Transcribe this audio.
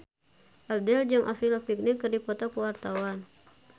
Abdel jeung Avril Lavigne keur dipoto ku wartawan